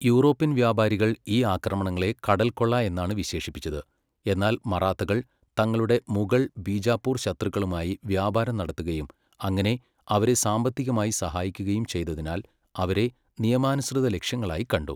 European വ്യാപാരികൾ ഈ ആക്രമണങ്ങളെ കടൽക്കൊള്ള എന്നാണ് വിശേഷിപ്പിച്ചത്, എന്നാൽ മറാത്തകൾ തങ്ങളുടെ മുഗൾ, ബീജാപ്പൂർ ശത്രുക്കളുമായി വ്യാപാരം നടത്തുകയും അങ്ങനെ അവരെ സാമ്പത്തികമായി സഹായിക്കുകയും ചെയ്തതിനാൽ അവരെ നിയമാനുസൃത ലക്ഷ്യങ്ങളായി കണ്ടു.